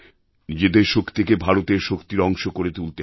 নিজেদের শক্তিকে ভারতের শক্তির অংশ করে তুলতে হবে